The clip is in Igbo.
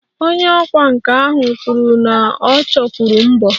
Onye ọkwá nkà ahụ kwuru na ọ chọkwuru mbọ